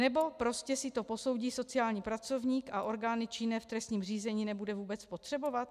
Nebo prostě si to posoudí sociální pracovník a orgány činné v trestním řízení nebude vůbec potřebovat?